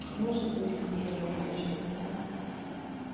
может быть к ней я обращусь да